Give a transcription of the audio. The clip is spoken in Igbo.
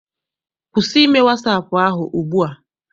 Kwụsị ime wasaapụ ahụ ugbua!